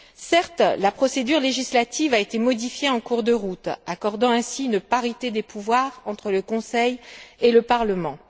Certes, la procédure législative a été modifiée en cours de route, instaurant ainsi une parité des pouvoirs entre le Conseil et le Parlement.